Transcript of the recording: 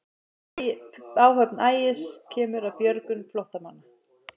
Áhöfn Ægis kemur að björgun flóttamanna